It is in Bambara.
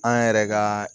An yɛrɛ ka